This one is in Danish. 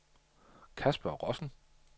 Casper Rossen